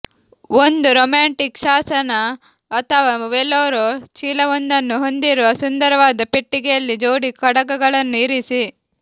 ಒಂದು ರೊಮ್ಯಾಂಟಿಕ್ ಶಾಸನ ಅಥವಾ ವೇಲೋರ್ ಚೀಲವೊಂದನ್ನು ಹೊಂದಿರುವ ಸುಂದರವಾದ ಪೆಟ್ಟಿಗೆಯಲ್ಲಿ ಜೋಡಿ ಕಡಗಗಳನ್ನು ಇರಿಸಿ